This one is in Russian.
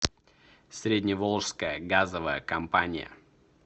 средневолжская газовая компания